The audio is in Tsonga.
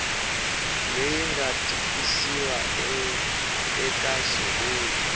leri nga tikisiwa eka xivulwa